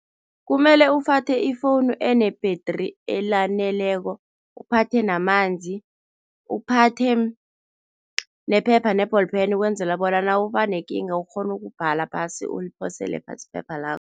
Kumele uphathe ifowunu ene-battery elaneleko, uphathe namanzi, uphathe nephepha ne-ball pen ukwenzela bona nawubanekinga, ukghone ukubhadela phasi uliphosele phasi iphepha lakho.